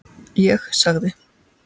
Ég sagði